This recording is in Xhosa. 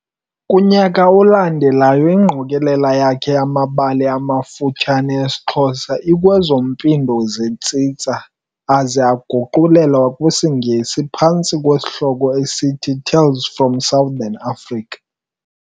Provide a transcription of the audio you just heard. Kunyaka olandelayo, igqokelela yakhe yamabali amafutshane esiXhosa i-Kwezo Mpindo zeTsitsa aguqulelwa kwisiNgesi phantsi kwesihloko eisthi Tales from Southern Africa.